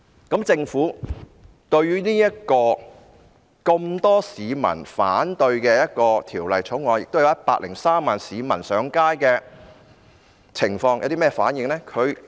對於《條例草案》有這麼多市民反對、有103萬名市民上街的情況，政府有甚麼反應呢？